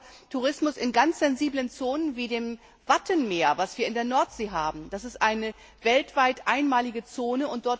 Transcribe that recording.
auch Tourismus in ganz sensiblen Zonen wie dem Wattenmeer an der Nordsee. Das ist eine weltweit einmalige Zone.